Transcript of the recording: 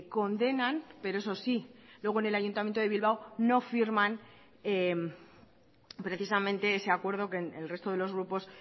condenan pero eso sí luego en el ayuntamiento de bilbao no firman precisamente ese acuerdo que el resto de los grupos